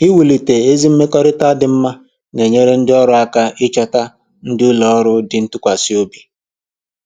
Iwulite ezi mmekọrịta dị mma na-enyere ndị ọrụ aka ịchọta ndị ụlọ ọrụ dị ntụkwasịobi